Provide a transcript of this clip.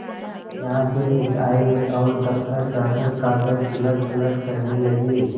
यहाँ से उठ आये और दफ्तर जाकर कागज उलटपलट करने लगे